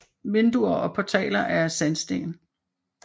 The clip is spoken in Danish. Vinduer og portaler er af sandsten